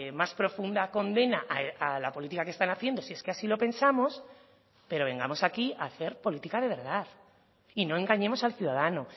más profunda condena a la política que están haciendo si es que así lo pensamos pero vengamos aquí a hacer política de verdad y no engañemos al ciudadano